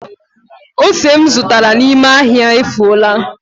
Ose m zụtara n’ime ahịa efuola